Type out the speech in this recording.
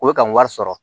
O bɛ ka wari sɔrɔ